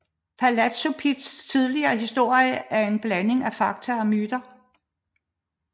Palazzo Pittis tidlige historie er en blanding af fakta og myter